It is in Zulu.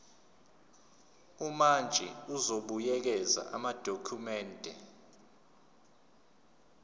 umantshi uzobuyekeza amadokhumende